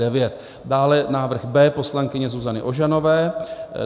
Dále návrh B poslankyně Zuzany Ožanové.